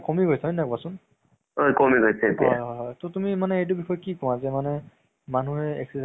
movies ৰ তোমাৰ কি হয় ন আজি কালি ধৰা release হোৱাৰ পিছতে মানে আহ তুমি নিজে download কৰি চাব পাৰিবা ন।